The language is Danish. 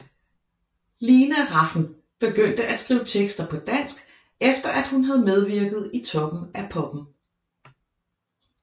Lina Rafn begyndte at skrive tekster på dansk efter hun havde medvirket i Toppen af Poppen